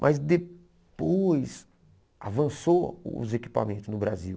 Mas depois avançou os equipamentos no Brasil.